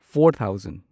four thousand